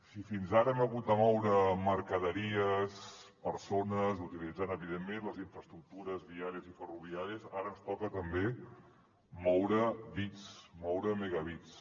si fins ara hem hagut de moure mercaderies persones utilitzant evidentment les infraestructures viàries i ferroviàries ara ens toca també moure bits moure megabits